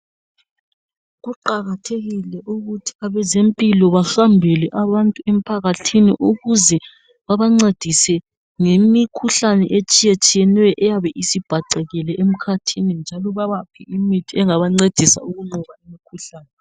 Kuqakathekile ukuthi abezempilo basondele abantu emphakathini ukuze babancedise ngemikhuhlane etshiyeneyo eyabe isibhacekile emkhathini njalo babaphe imithi engabancedisa ukunqoba imkhuhlane.